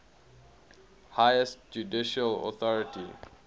highest judicial authority